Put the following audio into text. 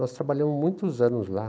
Nós trabalhamos muitos anos lá.